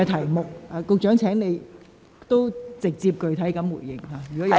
如你有補充，請直接並具體地答覆。